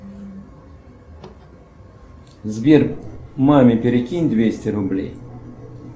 сбер маме перекинь двести рублей